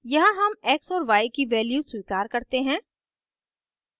यहाँ हम x और y की value स्वीकार करते हैं